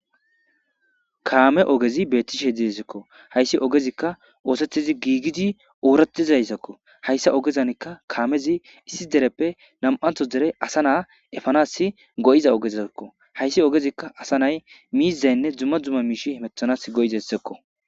Kaame oogezi bettishe de'esikko hayssi oogezikka oosettidii gigiddi ooratizayssakko hayssa oogera kaamezi issi dereppe nam'anththo dere eepanas go'iza oogezkko hayssi oogezikka miizayinne dumma dumma miishshatti heemetanas go'izayssakko.